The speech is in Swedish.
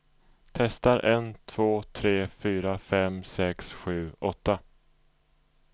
Testar en två tre fyra fem sex sju åtta.